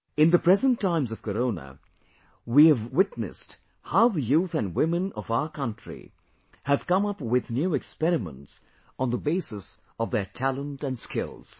In the present times of Corona, we have witnessed how the youth & women of our country have come up with new experiments on the basis of their talent & skills